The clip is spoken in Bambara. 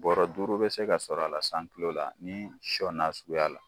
Bɔrɔ duuru bɛ se ka sɔrɔ a la san tulo la ni sɔ suguya la.